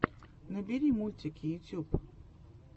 набери мультики ютьюб